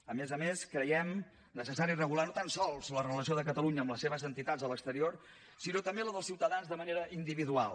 a més a més creiem necessari regular no tan sols la relació de catalunya amb les seves entitats a l’exterior sinó també la dels ciutadans de manera individual